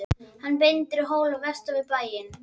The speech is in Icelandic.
Hann bendir á hól vestan við bæinn.